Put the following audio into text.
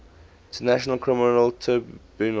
international criminal tribunal